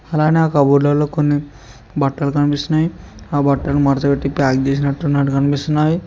అలానే ఆ కబోర్డ్ల ల్లో కొన్ని బట్టలు కనిపిస్తున్నాయి ఆ బట్టలు మడత పెట్టి ప్యాక్ చేసినట్టు నట్టు కనిపిస్తున్నావి.